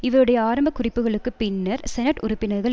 இவருடைய ஆரம்ப குறிப்புகளுக்கு பின்னர் செனட் உறுப்பினர்கள்